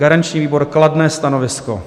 Garanční výbor: kladné stanovisko.